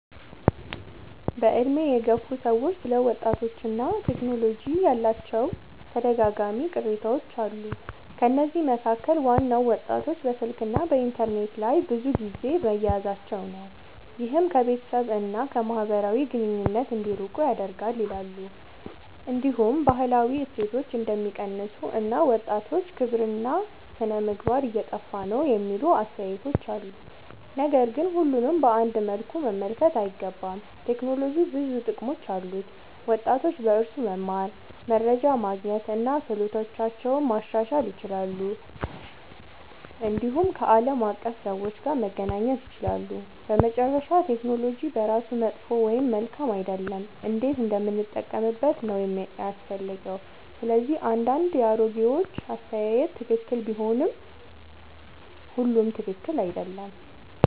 በዕድሜ የገፉ ሰዎች ስለ ወጣቶችና ቴክኖሎጂ ያላቸው ተደጋጋሚ ቅሬታዎች አሉ። ከነዚህ መካከል ዋናው ወጣቶች በስልክና በኢንተርኔት ላይ ብዙ ጊዜ መያዛቸው ነው፤ ይህም ከቤተሰብ እና ከማህበራዊ ግንኙነት እንዲርቁ ያደርጋል ይላሉ። እንዲሁም ባህላዊ እሴቶች እንደሚቀንሱ እና ወጣቶች ክብርና ሥነ-ምግባር እየጠፋ ነው የሚሉ አስተያየቶች አሉ። ነገር ግን ሁሉንም በአንድ መልኩ መመልከት አይገባም። ቴክኖሎጂ ብዙ ጥቅሞች አሉት፤ ወጣቶች በእርሱ መማር፣ መረጃ ማግኘት እና ክህሎታቸውን ማሻሻል ይችላሉ። እንዲሁም ከዓለም አቀፍ ሰዎች ጋር መገናኘት ይችላሉ። በመጨረሻ ቴክኖሎጂ በራሱ መጥፎ ወይም መልካም አይደለም፤ እንዴት እንደምንጠቀምበት ነው የሚያስፈልገው። ስለዚህ አንዳንድ የአሮጌዎች አስተያየት ትክክል ቢሆንም ሁሉም ትክክል አይደለም።